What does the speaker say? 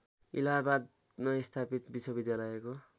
इलाहाबादमा स्थापित विश्वविद्यालयको